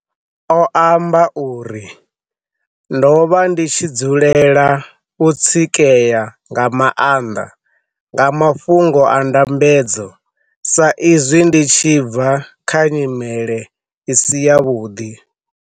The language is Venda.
O amba uri, Ndo vha ndi tshi dzulela u tsikea nga maanḓa nga mafhungo a ndambedzo sa zwi ndi tshi bva kha nyi mele i si yavhuḓi.